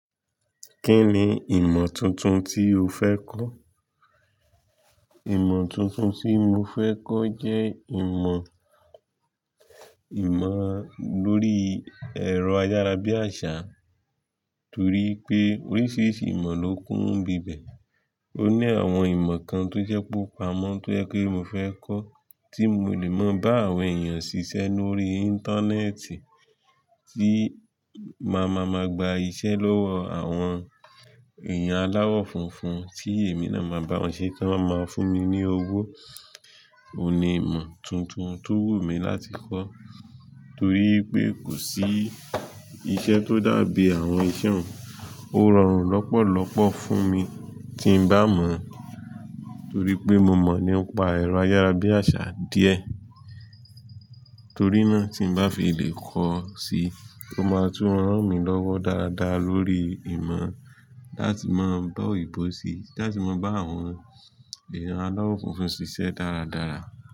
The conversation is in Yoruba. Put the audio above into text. Kí ni ìmọ̀ tuntun tí o fẹ́ kọ́? Ìmọ̀ tuntun tí mo fẹ́ kọ́ jẹ́ ìmọ̀, ìmọ̀ lórí ẹ̀rọ ayárabíàṣá, torí pé oríṣiríṣi ìmọ̀ ló kún bíbẹ̀. Ó ní àwọn ìmọ̀ kan tó jẹ́ púpọ̀ pámọ́ tó jẹ́ kí mo fẹ́ kọ́ tí mo lè mọ bá àwọn èèyàn ṣiṣẹ́ lórí íńtánẹ́ẹ̀tì tí máa ma ma gba iṣẹ́ lọ́wọ́ àwọn èèyàn aláwọ̀ funfun tí èmi náà máa bá wọn ṣe kí wọ́n máa fún mi ní owó. Óún ni ìmọ̀ tuntun tó wù mí láti kọ́, torí pé kò sí iṣẹ́ tó dàbí àwọn iṣẹ́ ọ̀ún, ó rọrùn lọ́pọ̀lọ́pọ̀ fún mi tí n bá mọ̀, torí pé mo mọ̀ nípa ẹ̀rọ ayárabíàṣá díẹ̀, torí náà tí n bá fi lè kọ́ ọ sí, ó máa tú rán mi lọ́wọ́ dáradára lórí ìmọ̀ láti máa bá òyìnbó ṣí, láti máa bá àwọn èèyàn aláwọ̀ funfun ṣiṣẹ́ dáradára.